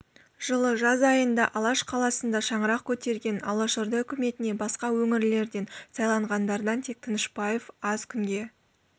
жылы жаз айында алаш қаласында шаңырақ көтерген алашорда өкіметіне басқа өңірлерден сайланғандардан тек тынышпаев аз күнге